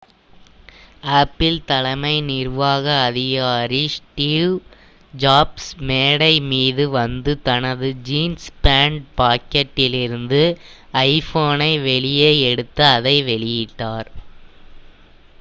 apple தலைமை நிர்வாக அதிகாரி ஸ்டீவ் ஜாப்ஸ் மேடை மீது வந்து தனது ஜீன்ஸ் பேண்ட் பாக்கெட்டிலிருந்து ஐபோனை வெளியே எடுத்து அதை வெளியிட்டார்